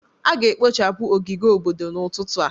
A ga-ekpochapụ ogige obodo n'ụtụtụ a.